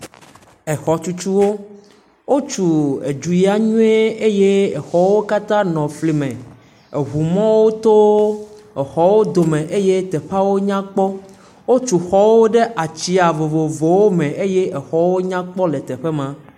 Exɔtutuwo; wotu edu ya nyuie eye teƒe woka nɔ fli me. Eŋu mɔwo to exɔ wo dome eye teƒeawo nyakpɔ. Wotu xɔwo ɖe ats0a vovovowo me eye teƒeawo nyakpɔ le teƒe maa.